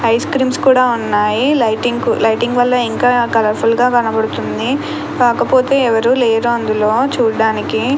Ice creams కూడా ఉన్నాయి. Lighting lighting వల్ల ఇంకా కలర్ ఫుల్ గా కనబడుతుంది. కాకపోతే ఎవరూ లేరు అందులో చూడడానికి.